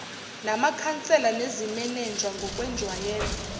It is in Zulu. namakhansela nezimenenja ngokwenjwayelo